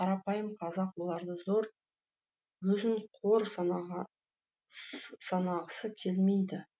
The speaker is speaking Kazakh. қарапайым қазақ оларды зор өзін қор санағысы келмейді